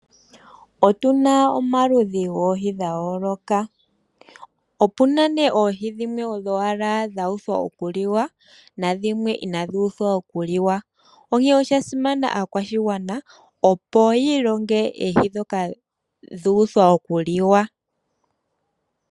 Otuna omaludhi goohi dha yooloka opuna nee oohi dhimwe odho wala dha uthwa okuliwa, na dhimwe ina dhi uthwa okuliwa. Onkene oshasimana aakwashigwana opo yi ilonge oohi dhoka dha uthwa oku liwa.